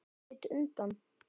Hann leit undan.